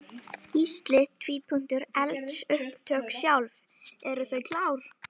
Gísli: Eldsupptök sjálf, eru þau klár?